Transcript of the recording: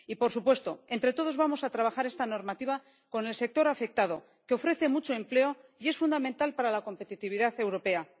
Y, por supuesto, entre todos vamos a trabajar esta normativa con el sector afectado, que ofrece mucho empleo y es fundamental para la competitividad europea.